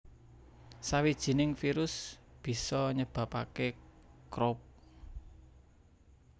Sawijining virus bisa nyebabake Croup